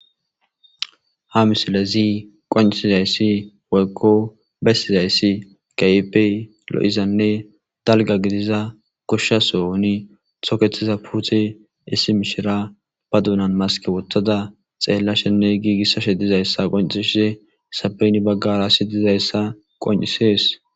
ha misilezi qoncisizayssi woykko bessizayssi gayipey lo7izanne dalga gidiza koshshasoni toketiza puute issi mishira ba duunan maske wothada xeellashenne giigissashe dizayssa qoncishise sabeyni baggara si dizayssa qoncisees